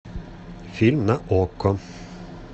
фильм на окко